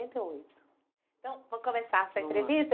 Então, vamos começar essa entrevista?